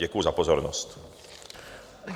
Děkuji za pozornost.